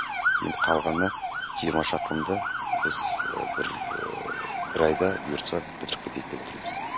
енді қалғаны жиырма шақырымды біз бір бір айда бұйыртса бітіріп кетейік деп отырмыз